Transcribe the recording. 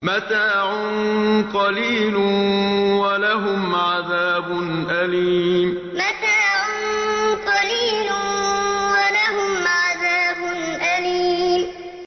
مَتَاعٌ قَلِيلٌ وَلَهُمْ عَذَابٌ أَلِيمٌ مَتَاعٌ قَلِيلٌ وَلَهُمْ عَذَابٌ أَلِيمٌ